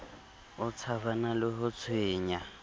o tshabana le ho tshwengwa